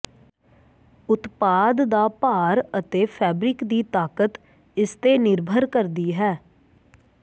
ਉਤਪਾਦ ਦਾ ਭਾਰ ਅਤੇ ਫੈਬਰਿਕ ਦੀ ਤਾਕਤ ਇਸ ਤੇ ਨਿਰਭਰ ਕਰਦੀ ਹੈ